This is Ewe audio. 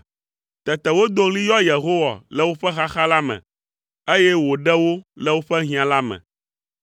Tete wodo ɣli yɔ Yehowa le woƒe xaxa la me, eye wòɖe wo le woƒe hiã la me.